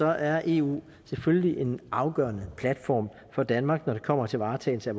er eu selvfølgelig en afgørende platform for danmark når det kommer til varetagelse